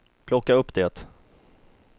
plocka upp det